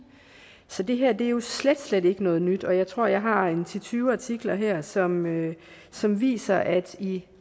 så det her er jo slet slet ikke noget nyt og jeg tror jeg har en ti til tyve artikler her som som viser at i